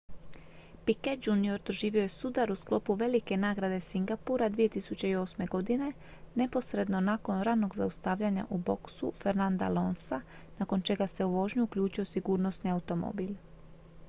piquet jr doživio je sudar u sklopu velike nagrade singapura 2008. godine neposredno nakon ranog zaustavljanja u boksu fernanda alonsa nakon čega se u vožnju uključio sigurnosni automobil